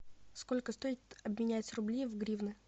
сколько стоит обменять рубли в гривны